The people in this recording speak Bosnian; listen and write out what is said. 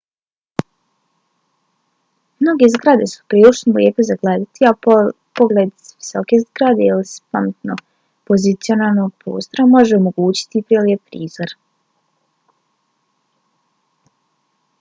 mnoge zgrade su prilično lijepe za gledati a pogled s visoke zgrade ili s pametno pozicioniranog prozora može omogućiti prelijep prizor